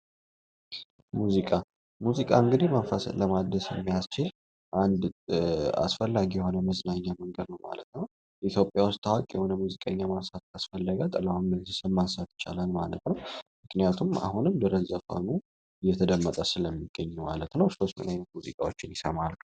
ሙዚቃ : ሙዚቃ እንግዲ መንፈስን ለማደስ የሚያስችል አንድ አስፈላጊ የሆነ መዝናኛ መንገድ ነዉ ማለት ነዉ ።ኢትዮጵያ ዉስጥ ታዋቂ የሆነ ሙዚቀኛ ማንሳት ካስፈለገ ጥላሁን ገሰሰን ማንሳት ይቻላል ማለት ነዉ ምክንያቱም አሁንም ድረስ ዘፈኑ እየተደመጠ ስለሚገኝ ማለት ነዉ ሰወች እኒህን አይነት ሙዚቃወችን ይሰማሉ።